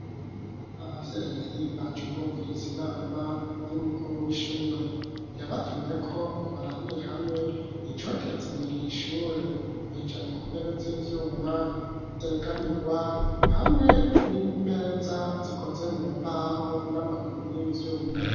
Ababyeyi, baje kwumviriza inama, y'umukuru w'ishure; yabatumyeko, ngo barabire hamwe, icoteza imbere iri shure; bicaye ku ntebe z'ivyuma, zegamirwa, hamwe n'imeza, zikoze mu mbaho, n'amaguru y'ivyuma.